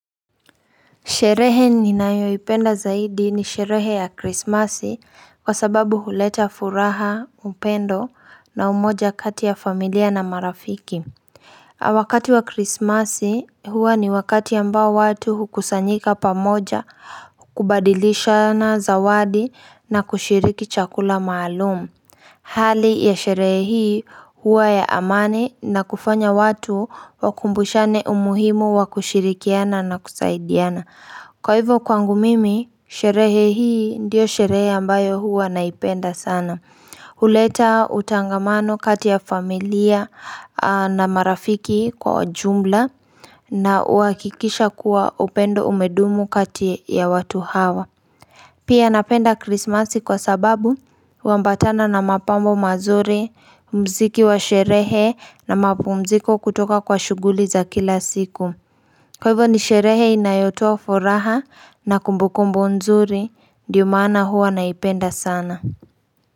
Sherehe ninayoipenda zaidi ni sherehe ya krismasi kwa sababu huleta furaha, upendo na umoja kati ya familia na marafiki. Wakati wa krismasi huwa ni wakati ambao watu hukusanyika pamoja, kubadilishana zawadi na kushiriki chakula maalumu. Hali ya sherehe hii huwa ya amani na kufanya watu wakumbushane umuhimu wa kushirikiana na kusaidiana. Kwa hivyo kwangu mimi, sherehe hii ndiyo sherehe ambayo huwa naipenda sana. Huleta utangamano kati ya familia na marafiki kwa ujumla na uhakikisha kuwa upendo umedumu kati ya watu hawa. Pia napenda krismasi kwa sababu, huambatana na mapambo mazuri, mziki wa sherehe na mapumziko kutoka kwa shughuli za kila siku. Kwa hivyo ni sherehe inayotoa furaha na kumbukumbu nzuri, ndiyo maana huwa naipenda sana.